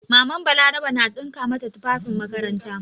MamanBalaraba na ɗinka mata tufafin makaranta.